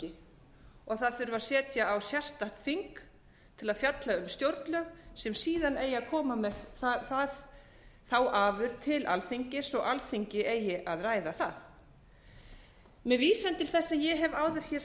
þurfi að setja á sérstakt þing til að fjalla um stjórnlög sem síðan eigi að koma með þá afurð til alþingis og alþingi eigi að ræða það með vísan til þess sem ég hef áður hér